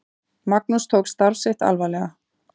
Magnús tók starf sitt alvarlega.